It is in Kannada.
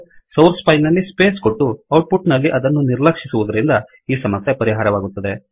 ಸೌರ್ಸ್ ಫೈಲ್ ನಲ್ಲಿ ಸ್ಪೇಸ್ ಕೊಟ್ಟು ಔಟ್ ಪುಟ್ ನಲ್ಲಿ ಅದನ್ನು ನಿರ್ಲಕ್ಷಿಸುವದರಿಂದ ಈ ಸಮಸ್ಯೆ ಪರಿಹಾರವಾಗುತ್ತದೆ